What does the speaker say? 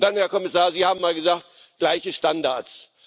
Herr Kommissar, Sie haben mal gesagt gleiche Standards.